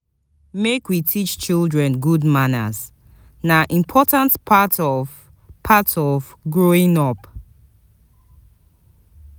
Make we teach children good manners, na important part of part of growing up.